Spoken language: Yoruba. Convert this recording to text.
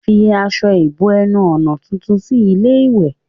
Fi aṣọ ìbo-ẹnu-ọ̀nà tuntun sí ilé-ìwẹ̀.